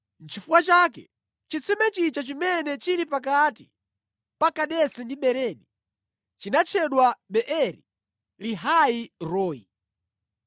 Nʼchifukwa chake chitsime chija chimene chili pakati pa Kadesi ndi Beredi chinatchedwa Beeri-lahai-roi.